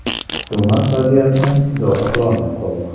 Hukumat vaziyatni idora qilolmay qoldi.